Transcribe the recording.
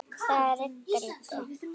Það rigndi.